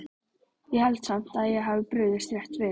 Ég held samt að ég hafi brugðist rétt við